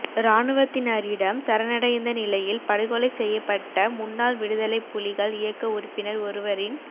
இராணுவத்தினரிடம் சரணடைந்த நிலையில் படுகொலைசெய்யப்பட்ட முன்னாள் விடுத லைப் புலிகள் இயக்க உறுப்பினர் ஒருவரின்